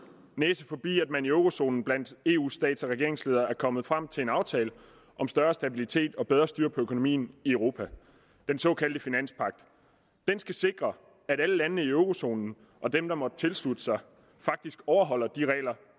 næse forbi at man i eurozonen blandt eus stats og regeringsledere er kommet frem til en aftale om større stabilitet og bedre styr på økonomien i europa den såkaldte finanspagt den skal sikre at alle landene i eurozonen og dem der måtte tilslutte sig faktisk overholder de regler